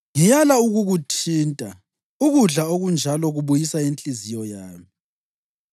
Ngiyala ukukuthinta; ukudla okunjalo kubuyisa inhliziyo yami.